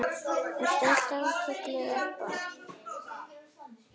Ertu alltaf kölluð Ebba?